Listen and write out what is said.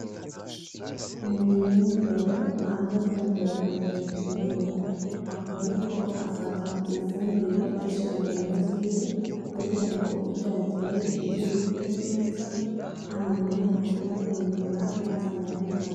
Umuntu w'umugabo ahagaze yambaye ibirato vyirabura akaba ariko afata ifumbire ayishira mu ndimo ziwe kugirango ivyo yateye bize bikure neza hanyuma nihagera kwimbura ntaze amaramare.